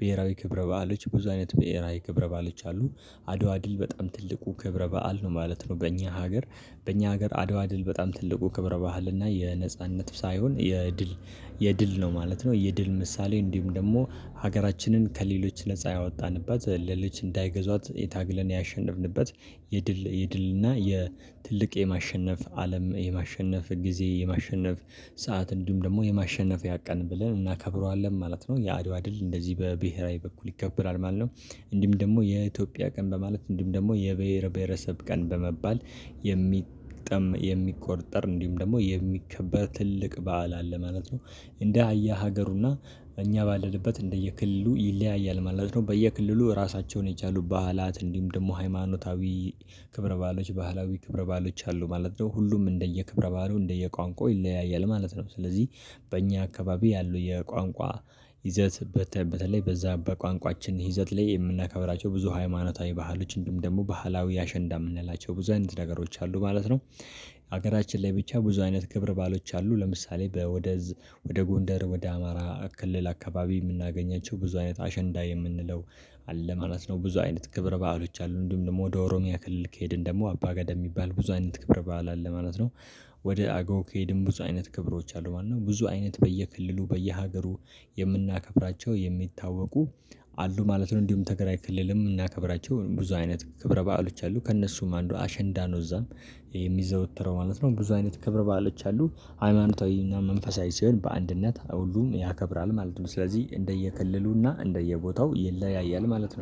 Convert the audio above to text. ብሄራዊ ክብረ በዓሎች ብዙ አይነት ብሄራዊ ክብረ ባሎች አሉ። አድዋ ድል በጣም ትልቁ ክብረበአል ነው ማለት ነው። በእኛ ሀገር በኛ ሀገር አድዋ ድል በጣም ትልቁ ክብረ ባህልና የነጻነት ሳይሆን የድል የድል ነው ማለት ነው። የድል ምሳሌ እንዲሁም ደግሞ ሀገራችንን ከሌሎች ነፃ ያወጣንበት ለልጅ እንዳይገዟት ታግለን ያሸነፍንበት። የድል የድልና የትልቅ የማሸነፍ አለም የማሸነፍ ጊዜ የማሸነፍ ሰዓት እንዲሁም ደግሞ የማሸነፍያ ቀን ብለን እናከብረዋለን ማለት ነው። የአድዋ ድል እንደዚህ በብሄራዊ በኩል ይከብራል ማለት ነው። እንዲም ደግሞ የኢትዮጵያ ቀን በማለት እንዲም ደግሞ የብሄር ብሄረሰብ ቀን በመባል የሚጠም የሚቆጠር እንዲሁም ደግሞ የሚከበር ትልቅ በዓል አለ ማለት ነው። እንደያ ሀገሩና እኛ ባለንበት እንደየክልሉ ይለያያል ማለት ነው። በየክልሉ ራሳቸውን የቻሉ በዓላት እንዲሁም ደግሞ ሃይማኖታዊ ክብረ በዓሎች ባህላዊ ክብረ በዓሎች አሉ ማለት ነው። ሁሉም እንደየ ክብረ በዓሉ እንደየ ቋንቋ ይለያያል ማለት ነው። ስለዚህ በእኛ አካባቢ ያለው የቋንቋ ይዘት በተ በተለይ በዛ በቋንቋችን ይዘት ላይ የምናከብራቸው ብዙ ሃይማኖታዊ ባህሎች እንዲሁም ደግሞ ባህላዊ አሸንዳ የምንላቸው ብዙ አይነት ነገሮች አሉ ማለት ነው። ሀገራችን ላይ ብቻ ብዙ አይነት ክብር በዓሎች አሉ። ለምሳሌ ወደ ወደ ጎንደር ወደ አማራ ክልል አካባቢ የምናገኛቸው ብዙ አይነት አሸንዳ የምንለው አለ ማለት ነው። ብዙ አይነት ክብር በዓሎች አሉ። እንዲሁም ደግሞ ወደ ኦሮሚያ ክልል ከሄድን ደግሞ አባ ገዳ የሚባል ብዙ አይነት ክብር በዓል አለ ማለት ነው። ወደ አገው ከሄድን ብዙ አይነት ክብሮች አሉ ማለት ነው። ብዙ አይነት በየክልሉ በየሀገሩ የምናከብራቸው የሚታወቁ አሉ ማለት ነው። እንዲሁም ትግራይ ክልልም የምናከብራቸው ብዙ አይነት ክብረ በዓሎች አሉ ከእነሱም አንዱ አሸንዳ ነው። እዛም የሚዘወተረው ማለት ነው። ብዙ አይነት ክብር በዓሎች አሉ። ሃይማኖታዊና መንፈሳዊ ሲሆን በአንድነት ሁሉም ያከብራል ማለት ነው። ስለዚህ እንደየክልሉና እንደየቦታው ይለያያል ማለት ነው